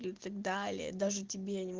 так далее даже тебе